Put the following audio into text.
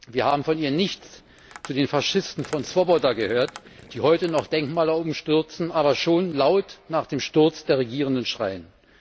Wir haben von ihr nichts zu den Faschisten von Swoboda gehört, die heute noch Denkmäler umstürzen, aber schon laut nach dem Sturz der Regierenden schreien.